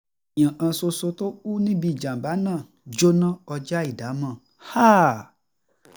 èèyàn kan ṣoṣo tó kù níbi ìjàm̀bá náà jóná kọjá ìdámò